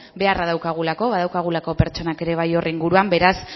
beharra daukagulako badaukagulako pertsonak ere bai hor inguruaz beraz